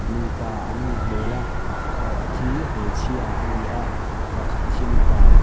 nupa an nih hmel a pakhat hi hmeichhia a ni a pakhat hi mipa.